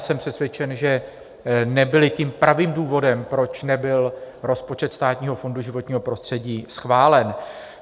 Jsem přesvědčen, že nebyly tím pravým důvodem, proč nebyl rozpočet Státního fondu životního prostředí schválen.